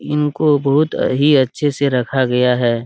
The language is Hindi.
इनको बहुत ही अच्छा से रखा गया है।